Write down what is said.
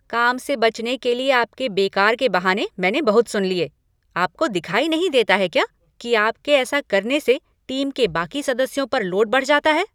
काम से बचने के लिए आपके बेकार के बहाने मैंने बहुत सुन लिए। आपको दिखाई नहीं देता है क्या कि आपके ऐसा करने से टीम के बाकी सदस्यों पर लोड बढ़ जाता है?